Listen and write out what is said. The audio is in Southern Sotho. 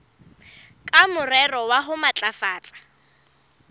ka morero wa ho matlafatsa